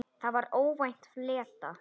Það var óvænt flétta.